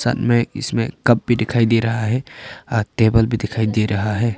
साथ में इसमें कप भी दिखाई दे रहा है अ टेबल भी दिखाई दे रहा है।